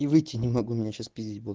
и выйти не могу меня сейчас пиздить будут